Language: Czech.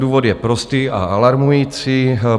Důvod je prostý a alarmující.